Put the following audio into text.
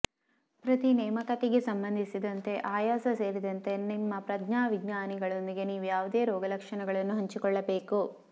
ಪ್ರತಿ ನೇಮಕಾತಿಗೆ ಸಂಬಂಧಿಸಿದಂತೆ ಆಯಾಸ ಸೇರಿದಂತೆ ನಿಮ್ಮ ಪ್ರಜ್ಞಾವಿಜ್ಞಾನಿಗಳೊಂದಿಗೆ ನೀವು ಯಾವುದೇ ರೋಗಲಕ್ಷಣಗಳನ್ನು ಹಂಚಿಕೊಳ್ಳಬೇಕು